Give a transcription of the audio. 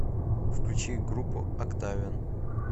включи группу октавиан